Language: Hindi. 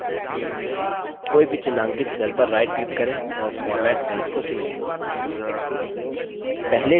कोई भी चिन्हांकित cells पर right click करें और format cells को चुनें